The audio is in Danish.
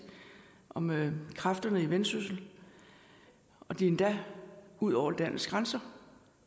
om kræfterne i vendsyssel og det er endda ud over landets grænser